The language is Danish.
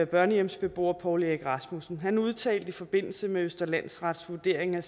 børnehjemsbeboer poul erik rasmussen han udtalte i forbindelse med østre landsrets vurdering af